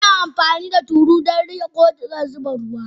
Ana amfani da tulu don riƙe ko a zuba ruwa.